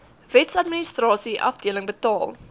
wetsadministrasie afdeling betaal